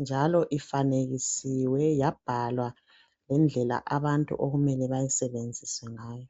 njalo iyabe ifanekisiwe yabhalwa ngendlela umuthi wakhona abantu okumele bawusebenzkse ngawo.